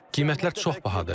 Qiymətlər çox bahadır.